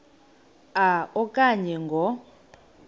a okanye ngo